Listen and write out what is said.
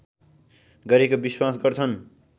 गरेको विश्वास गर्छन्